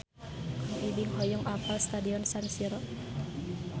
Kang Ibing hoyong apal Stadion San Siro